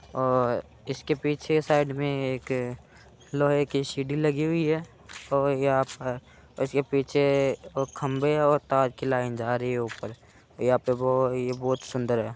और इसके पीछे की साइड मे एक लोहे की सीढ़ी लगी हुई है और यहाँ पर इसके पीछे खंभे और तार की लाइन जा रही है ऊपर यहां पे वो ये बहोत सुंदर है।